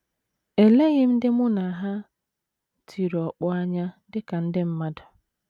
Eleghị m ndị mụ na ha tiri ọkpọ anya dị ka ndị mmadụ.